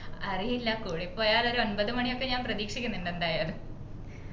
അറിയില്ല കൂടിപ്പോയാൽ ഒരു ഒൻപത് മണിയൊക്കെ ഞാൻ പ്രതീക്ഷിക്കുന്നുണ്ട് എന്തായാലും